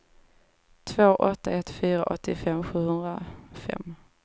två åtta ett fyra åttiofem sjuhundrafem